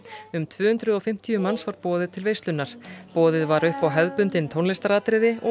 um tvö hundruð og fimmtíu manns var boðið til veislunnar boðið var upp á hefðbundin tónlistaratriði og